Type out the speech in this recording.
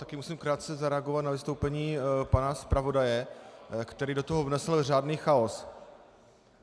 Také musím krátce zareagovat na vystoupení pana zpravodaje, který do toho vnesl řádný chaos.